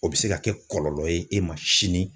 O bɛ se ka kɛ kɔlɔlɔ ye e ma sini